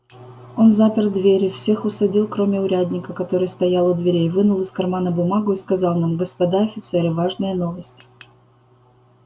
он запер двери всех усадил кроме урядника который стоял у дверей вынул из кармана бумагу и сказал нам господа офицеры важная новость